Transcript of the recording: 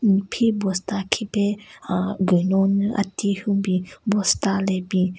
Phi bosta khipe aah gunyo nyu ati yhun bin bosta le bin.